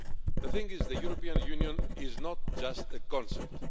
The thing is, the European Union is not just a concept.